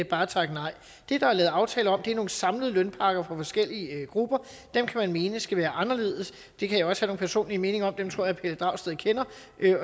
bare takke nej det der er lavet aftaler om er nogle samlede lønpakker for forskellige grupper dem kan man mene skal være anderledes det kan jeg også have nogle personlige meninger om dem tror jeg herre pelle dragsted kender